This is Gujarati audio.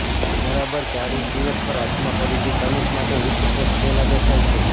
બરાબર ચાળીસ દિવસ પર આત્મા ફરીથી ધનુષ માટે ઉચ્ચ ફોર્સ પહેલાં દેખાય છે